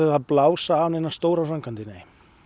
að blása af neinar stórar framkvæmdir nei